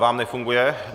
- Vám nefunguje?